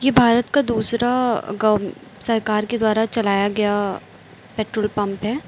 भारत का दूसरा गवं सरकार के द्वारा चलाया गया पेट्रोल पंप है।